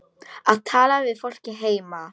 Að tala við fólkið heima.